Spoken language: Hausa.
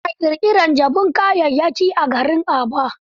Ana ƙirƙirar jabun kayayyaki a birnin Aba.